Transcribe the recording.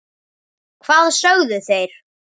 Hvað sögðu þeir?